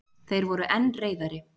Þeir voru enn reiðari.